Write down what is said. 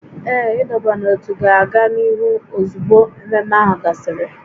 Ee, ịdọba n'ótú ga-aga n'ihu ozugbo ememe ahụ gasịrị